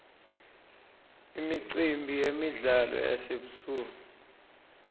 imicimbi yemidlalo yasebusuku